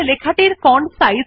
বর্তমানে font size ১২ আছে